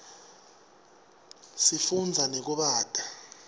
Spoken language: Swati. sifunza nekubata